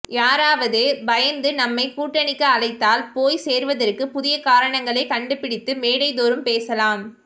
யாரவது பயந்து நம்மை கூட்டணிக்கு அழைத்தால் போய் சேர்வதற்கு புதிய காரணங்களை கண்டு பிடித்து மேடை தோறும் பேசலாம்